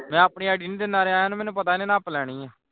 ਮੈਂ ਆਪਣੀ id ਨਹੀਂ ਦਿੰਦਾ ਰਿਹਾ ਮੈਨੂੰ ਪਤਾ ਹੈ ਇਹਨੇ ਨੱਪ ਲੈਣੀ ਹੈ